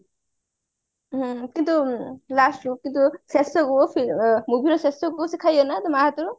କିନ୍ତୁ last movie ର ଶେଷ କୁ ସେ ଖାଇବ ନା ତା ମାଆ ହାତରୁ